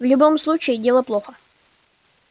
в любом случае дело плохо